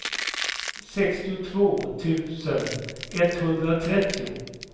sextiotvå tusen etthundratrettio